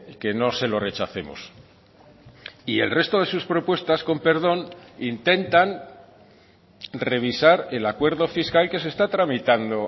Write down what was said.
que no se lo rechacemos y el resto de sus propuestas con perdón intentan revisar el acuerdo fiscal que se está tramitando